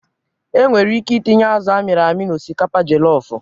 E nwere ike itinye azụ a mịrị amị na osikapa jelofụ.